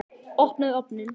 Opnaðu ofninn!